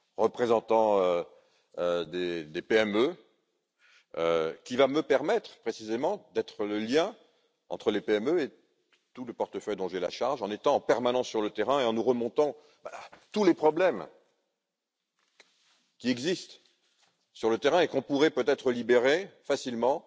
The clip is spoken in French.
représentant des PME qui va me permettre, précisément, d'être le lien entre les PME et tout le portefeuille dont j'ai la charge, en étant en permanence sur le terrain et en nous faisant remonter tous les problèmes qui existent sur le terrain et qu'on pourrait peut être éliminer facilement